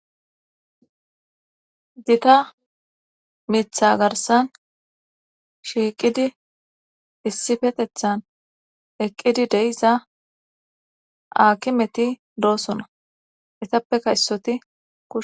Gita mitha garsan shiiqidi issifetethan eqqidi deiza akimeti doosona etappe kaysoti